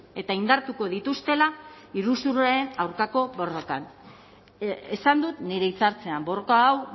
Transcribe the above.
eta indartuko dituztela iruzurraren aurkako borrokan esan dut nire hitzartzean borroka hau